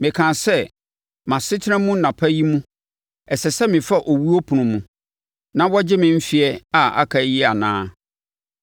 Mekaa sɛ, “Mʼasetena mu nnapa yi mu ɛsɛ sɛ mefa owuo apono mu na wɔgye me mfeɛ a aka yi anaa?”